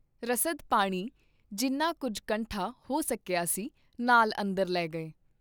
ਰਸਦ ਪਾਣੀ, ਜਿੰਨਾ ਕੁੱਝ ਕੰਠਾ ਹੋ ਸਕੀਆ ਸੀ, ਨਾਲ ਅੰਦਰ ਲੈ ਗਏ.